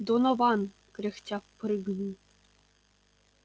донован кряхтя прыгнул